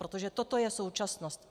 Protože toto je současnost.